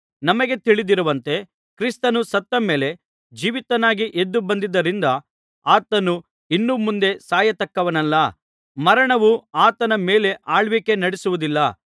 ನಮಗೆ ತಿಳಿದಿರುವಂತೆ ಕ್ರಿಸ್ತನು ಸತ್ತ ಮೇಲೆ ಜೀವಿತನಾಗಿ ಎದ್ದು ಬಂದದ್ದರಿಂದ ಆತನು ಇನ್ನು ಮುಂದೆ ಸಾಯತಕ್ಕವನಲ್ಲ ಮರಣವು ಆತನ ಮೇಲೆ ಆಳ್ವಿಕೆ ನಡಿಸುವುದಿಲ್ಲ